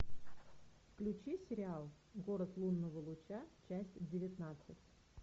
включи сериал город лунного луча часть девятнадцать